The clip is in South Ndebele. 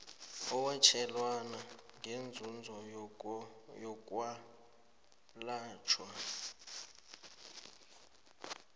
owatjelwana ngeenzuzo zokwelatjhwa